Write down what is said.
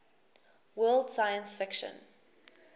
world science fiction